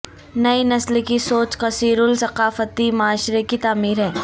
نئی نسل کی سوچ کثیر الثقافتی معاشرے کی تعمیر ہے